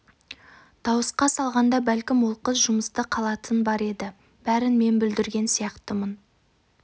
дауысқа салғанда бәлкім ол қыз жұмысты қалатын бар еді бәрін мен бүлдірген сияқтымын